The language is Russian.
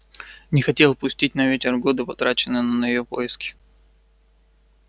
не хотел пустить на ветер годы потраченные на её поиски